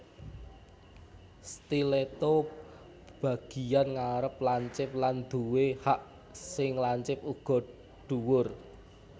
Stiletto Bagian ngarep lancip lan duwé hak sing lancip uga dhuwur